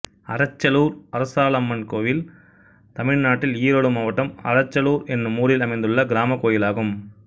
அறச்சலூர் அரச்சாலம்மன் கோயில் தமிழ்நாட்டில் ஈரோடு மாவட்டம் அறச்சலூர் என்னும் ஊரில் அமைந்துள்ள கிராமக் கோயிலாகும்